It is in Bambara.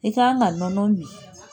I kan ka nɔnɔ min.